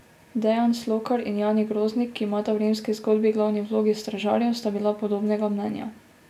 Dejan Slokar in Jani Groznik, ki imata v Rimski zgodbi glavni vlogi stražarjev, sta bila podobnega mnenja.